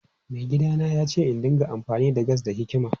Maigidana ya ce in dinga amfani da gas da hikima.